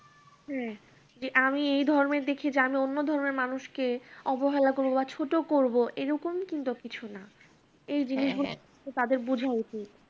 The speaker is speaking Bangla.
হম যে আমি এই ধর্মে দেখি জানি অন্য ধর্মের মানুষকে অবহেলা করবো বা ছোট করবো, এরকম কিন্তু কিছু না। এই জিনিসগুলো তাদের বোঝা উচিত।